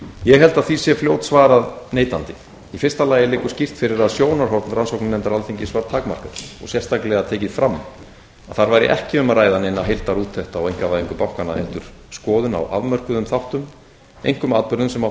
ég held að því sé fljótsvarað neitandi í fyrsta lagi liggur skýr fyrir að sjónarhorn rannsóknarnefndar alþingis var takmarkað og sérstaklega tekið fram að þar væri ekki um að ræða neina heildarúttekt á einkavæðingu bankanna heldur skoðun á afmörkuðum þáttum einkum atburðum sem áttu